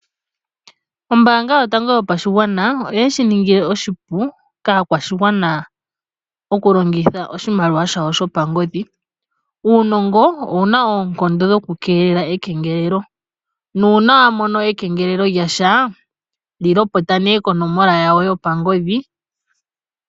Ombaanga yotango yopashigwana oyeshi ningila oshipu kaashigwana